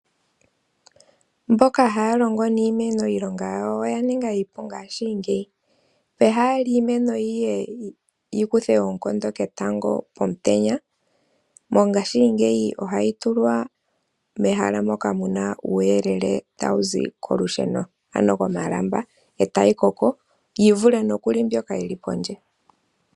Mboka haya longo niimeno iilonga yawo oyaninga iipu mongashingeyi. Pehala yiimeno yiye yikuthe eenkondo ketango omutenya, mongashingeyi ohayi tulwa mehala moka muna uuyelele tawuzi komalamba etayi koko yivule nokuli mbyoka yili pondje.